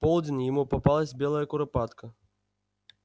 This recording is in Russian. в полдень ему попалась белая куропатка